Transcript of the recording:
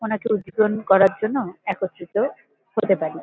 ওনাকে উজ্জীবন করার জন্য একত্রিত হতে পারি।